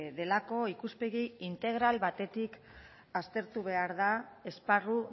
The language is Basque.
delako ikuspegi integral batetik aztertu behar da esparru